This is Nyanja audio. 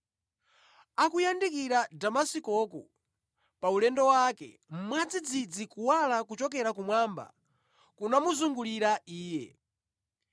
Akuyandikira ku Damasikoku paulendo wake, mwadzidzidzi kuwala kochokera kumwamba kunamuzungulira iye.